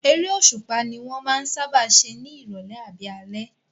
Eré òṣùpá ní wọ́n máa ń sáábà ṣe ní ìrọ̀lẹ́ àbí alẹ́